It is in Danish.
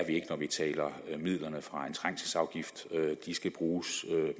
ikke når vi taler om midlerne fra en trængselsafgift de skal bruges